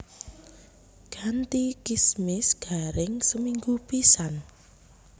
Ganti kismis garing seminggu pisan